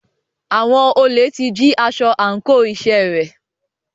Àwọn olè ti jí aṣọ àńkò iṣẹ́ rẹ̀.